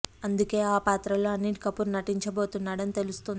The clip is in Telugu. అందుకే ఆ పాత్రలో అనిల్ కపూర్ నటించబోతున్నాడని తెలుస్తోంది